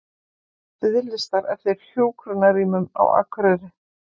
Biðlistar eftir hjúkrunarrýmum á Akureyri